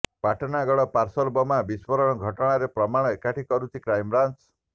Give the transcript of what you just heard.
Patnagarh parcel ବୋମା ବିସ୍ଫୋରଣ ଘଟଣାର ପ୍ରମାଣ ଏକାଠି କରୁଛି କ୍ରାଇମବ୍ରାଞ୍ଚ